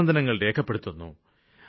അഭിനന്ദനങ്ങള് രേഖപ്പെടുത്തുന്നു